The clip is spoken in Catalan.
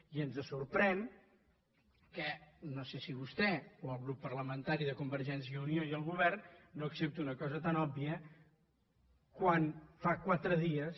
i ens sorprèn que no sé si vostè o el grup parlamentari de convergència i unió i el govern no accepti una cosa tan òbvia quan fa quatre dies